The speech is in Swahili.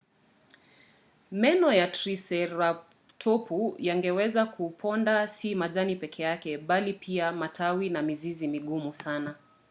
meno ya triseratopu yangeweza kuponda si majani pekee bali pia matawi na mizizi migumu sana